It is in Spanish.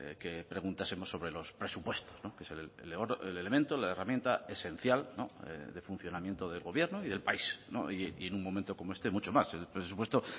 que preguntásemos sobre los presupuestos que es el elemento la herramienta esencial de funcionamiento del gobierno y del país y en un momento como este mucho más el presupuesto